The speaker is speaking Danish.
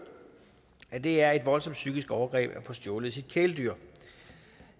at det er et voldsomt psykisk overgreb at få stjålet sit kæledyr